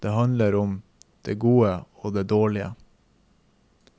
Den handler om det gode og det dårlige.